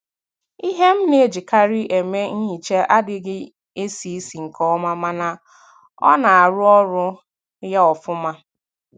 Ihe m na-ejikari eme nhicha adịghị esi isi nke ọma mana ọ na - arụ ọrụ ya ofuma.